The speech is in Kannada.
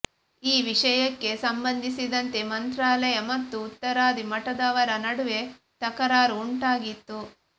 ಈ ವಿಷಯಕ್ಕೆ ಸಂಬಂಧಿಸಿದಂತೆ ಮಂತ್ರಾಲಯ ಮತ್ತು ಉತ್ತರಾದಿ ಮಠದವರ ನಡುವೆ ತಕರಾರು ಉಂಟಾಗಿತ್ತು